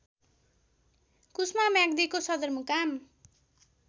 कुस्मा म्याग्दीको सदरमुकाम